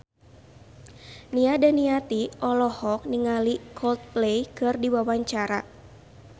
Nia Daniati olohok ningali Coldplay keur diwawancara